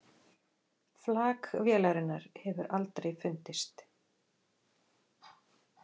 Flak vélarinnar hefur aldrei fundist